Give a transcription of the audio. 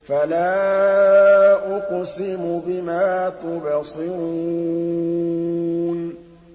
فَلَا أُقْسِمُ بِمَا تُبْصِرُونَ